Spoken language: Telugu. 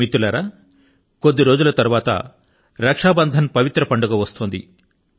మిత్రులారా కొద్ది రోజుల తరువాత రక్షాబంధన్ పర్వదినం వస్తోంది